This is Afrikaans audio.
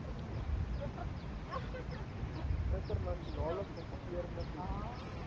internasionale kompeterende posisie